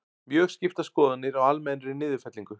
Mjög skiptar skoðanir á almennri niðurfellingu